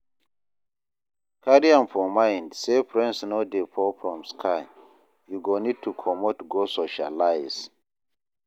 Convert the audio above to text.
Carry am for mind sey friends no dey fall from sky, you go need to comot go socialize